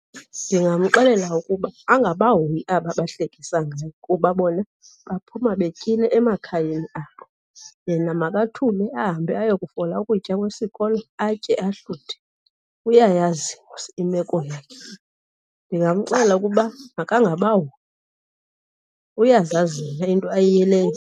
Ndingamxelela ukuba angabahoyi aba bahlekisa ngaye kuba bona baphuma betyile emakhayeni abo. Yena makathule, ahambe ayokufola ukutya kwesikolo atye ahluthe. Uyayazi mos imeko yakhe. Ndingamxelela ukuba makangabahoyi, uyazazi yena into ayiyeleyo.